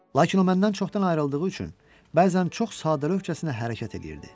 Lakin o məndən çoxdan ayrıldığı üçün bəzən çox sadəlövhcəsinə hərəkət eləyirdi.